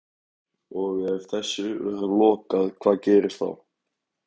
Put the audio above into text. Hrund Þórsdóttir: Og ef þessu verður lokað hvað gerist þá?